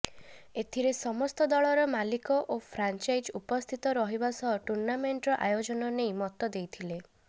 ଏଥିରେ ସମସ୍ତ ଦଳର ମାଲିକ ଓ ଫ୍ରାଞ୍ଚାଇଜ୍ ଉପସ୍ଥିତ ରହିବା ସହ ଟୁର୍ଣ୍ଣାମେଣ୍ଟର ଆୟୋଜନ ନେଇ ମତ ଦେଇଥିଲେ